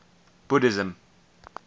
buddhism